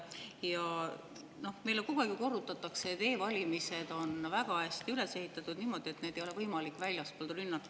Jah, meile kogu aeg korrutatakse, et e-valimised on väga hästi üles ehitatud, niimoodi, et neid ei ole võimalik väljastpoolt rünnata.